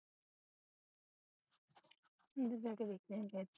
ਅੰਦਰ ਜਾ ਕੇ ਵੇਖ ਕੇ ਆਇਆ ਕਰ